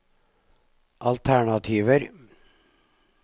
alternativer